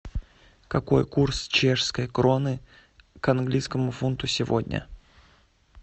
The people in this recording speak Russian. какой курс чешской кроны к английскому фунту сегодня